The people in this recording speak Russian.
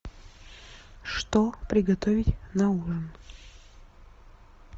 что приготовить на ужин